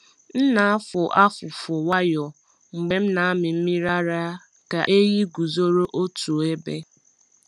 M na-afụ afụfụ nwayọọ mgbe m na-amị mmiri ara ka ehi guzoro otu ebe.